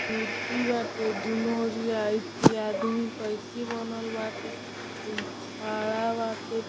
मूर्ति बाटे दुनो ओरिया एथी आदमी क एथी बनल बाटे। खड़ा आटे --